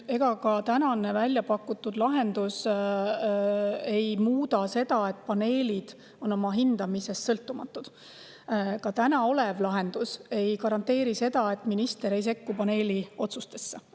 Ega see välja pakutud lahendus ei muuda seda, et paneelid on oma hindamises sõltumatud, ja ka tänane lahendus ei garanteeri seda, et minister ei sekku paneeli otsustesse.